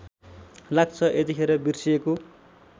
लाग्छ यतिखेर बिर्सिएको